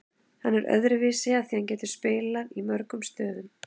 Hann er öðruvísi af því að hann getur spilað í mörgum stöðum.